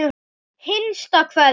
HINSTA KVEÐJA.